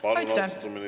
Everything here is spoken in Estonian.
Palun, austatud minister!